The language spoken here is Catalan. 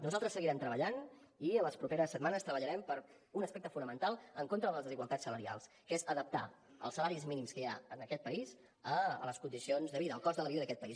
nosaltres seguirem treballant i en les properes setmanes treballarem per un aspecte fonamental en contra de les desigualtats salarials que és adaptar els salaris mínims que hi ha en aquest país a les condicions de vida al cost de la vida d’aquest país